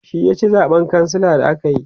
shi ya ci zaɓen kansila da akayi